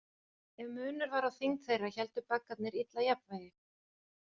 Ef munur var á þyngd þeirra héldu baggarnir illa jafnvægi.